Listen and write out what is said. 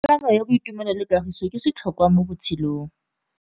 Tsalano ya boitumelo le kagiso ke setlhôkwa mo botshelong.